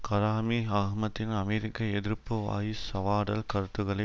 கடாமி அஹ்மதின் அமெரிக்க எதிர்ப்பு வாய் சவாடல் கருத்துக்களை